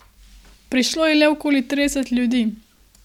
Prišlo je le okoli trideset ljudi.